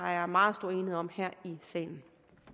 er meget stor enighed om her i salen